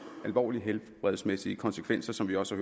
alvorlige helbredsmæssige konsekvenser som vi også